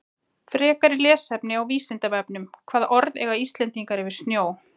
Frekara lesefni á Vísindavefnum Hvaða orð eiga Íslendingar yfir snjó?